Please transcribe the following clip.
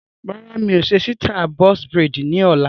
Rárá, mi ò ṣe sítai "Box braids" ni ọ̀la.